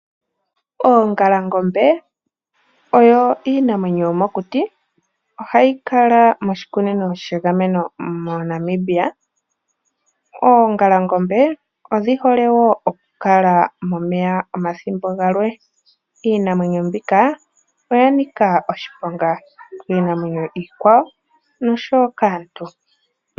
Oongalangombe odho iinamwenyo yomokuti ohayi kala moshikunino shegameno moNamibia. Oongalangombe odhi hole okukala momeya omathimbo gamwe. Iinamwenyo mbika oya nika oshiponga kiinamwenyo iikwawo noshowoo kaantu.